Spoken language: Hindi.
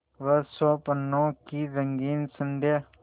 वह स्वप्नों की रंगीन संध्या